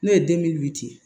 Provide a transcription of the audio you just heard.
N'o ye ye